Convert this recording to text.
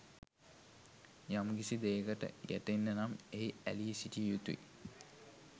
යම්කිසි දෙයකට ගැටෙන්න නම් එහි ඇලී සිටිය යුතුයි.